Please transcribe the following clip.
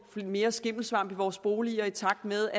mere skimmelsvamp i vores boliger i takt med